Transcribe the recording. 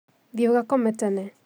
Thiĩ ugakome tene